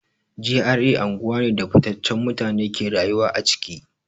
GRA anguwa ne da fitaccen mutane ke rayuwa a ciki.